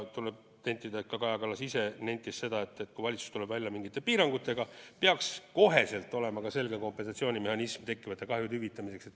Tuleb tõdeda, et ka Kaja Kallas ise nentis, et kui valitsus tuleb välja mingite piirangutega, siis peaks kohe olema ka selge kompensatsioonimehhanism tekkivate kahjude hüvitamiseks.